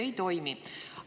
Ei toimi!